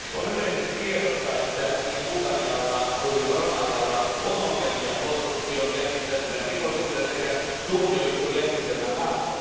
On yleisesti tiedossa, että niin Bulgarialla kuin Romanialla on ongelmia korruption, järjestäytyneen rikollisuuden sekä tuomioistuinjärjestelmän kanssa.